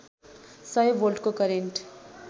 सय भोल्टको करेन्ट